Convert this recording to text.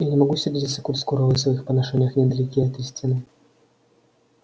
я не могу сердиться коль скоро вы в своих поношениях недалеки от истины